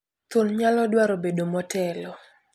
Thuon nyalo dwaro bedo motelo.